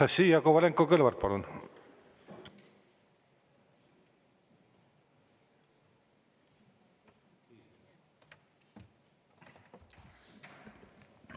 Anastassia Kovalenko-Kõlvart, palun!